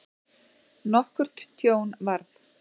Nokkurt tjón varð.